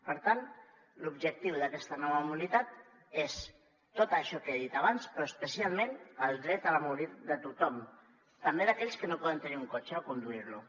per tant l’objectiu d’aquesta nova mobilitat és tot això que he dit abans però especialment el dret a la mobilitat de tothom també d’aquells que no poden tenir un cotxe o conduir lo